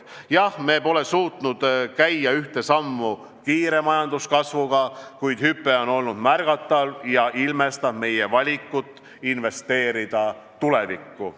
Jah, me pole suutnud käia ühte sammu kiire majanduskasvuga, kuid hüpe on olnud märgatav ja ilmestab meie valikut investeerida tulevikku.